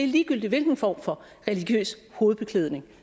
ligegyldigt hvilken form for religiøs hovedbeklædning